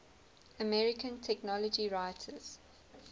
american technology writers